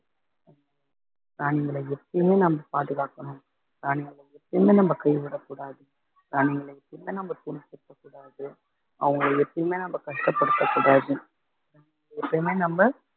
பிராணிங்கள எப்பையுமே நம்ம பாதுகாக்கணும் பிராணிங்கள எப்பையுமே நம்ம கைவிடக்கூடாது பிராணிங்கள எப்பையுமே நம்ம துன்புறுத்தக்கூடாது அவங்களை எப்பயுமே நம்ம கஷ்டப்படுத்தக் கூடாது எப்பவுமே நம்ம